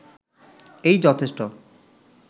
এই যথেষ্ট